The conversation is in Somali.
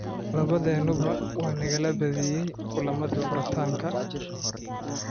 Labadeenuba waa nalaga badiyay kulamadii furitaanka.